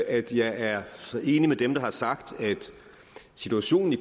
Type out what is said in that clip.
at jeg er enig med dem der har sagt at situationen i